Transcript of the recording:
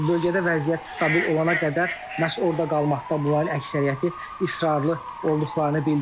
Və bölgədə vəziyyət stabil olana qədər məhz orada qalmaqda bunların əksəriyyəti israrlı olduqlarını bildirdilər.